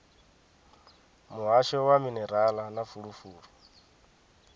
muhasho wa minerala na fulufulu